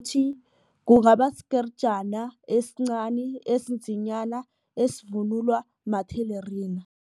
kungaba sikerijana esincani esinzinyana esivunulwa mathelerina.